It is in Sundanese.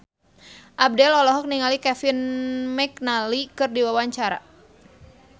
Abdel olohok ningali Kevin McNally keur diwawancara